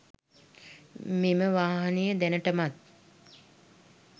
මෙම වාහනය දැනටමත්